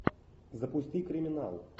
запусти криминал